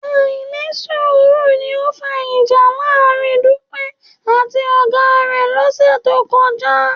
Àìnísùúrù ni ó fa ìjà láàárín Dúpẹ́ àti ọ̀gá rẹ̀ lọ́sẹ̀ tó kọjá